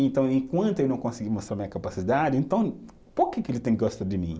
Então, enquanto eu não conseguir mostrar minha capacidade, então, por que que ele tem que gostar de mim?